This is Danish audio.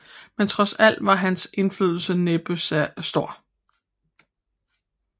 Men trods alt var hans indflydelse næppe stor